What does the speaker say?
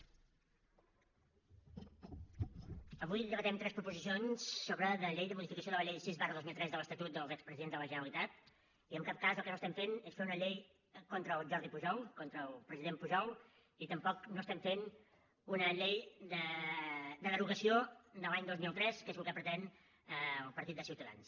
avui debatem tres proposicions de llei de modificació de la llei sis dos mil tres de l’estatut dels expresidents de la generalitat i en cap cas el que estem fent és fer una llei contra el jordi pujol contra el president pujol ni tampoc no estem fent una llei de derogació de la de l’any dos mil tres que és el que pretén el partit de ciutadans